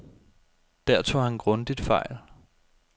Der tog han grundigt fejl.